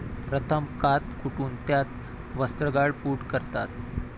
प्रथम कात कुटून त्याची वस्त्रगाळ पूड करतात.